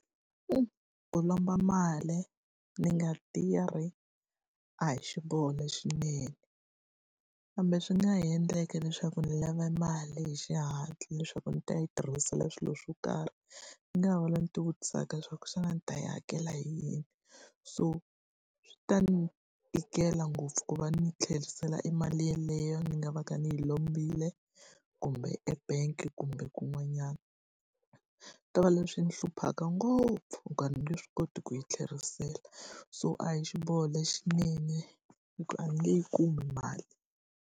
Ku lomba mali ni nga tirhi a hi xiboho lexinene, kambe swi nga ha endleka leswaku ndzi lave mali hi xihatla leswaku ndzi ta yi tirhisela swilo swo karhi. Ndzi nga ha vula ni ti vutisaka leswaku xana ndzi ta yi hakela hi yini? So swi ta ndzi tikela ngopfu ku va ni tlherisela e mali yeleyo ni nga va ka ni yi lombile, kumbe e-bank kumbe kun'wanyana. Ku ta va leswi swi ni hluphaka ngopfu hikuva a ni nge swi koti ku yi tlherisela, so a hi xiboho lexinene hi ku a ni nge yi kumi mali.